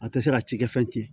A tɛ se ka cikɛ fɛn tiɲɛ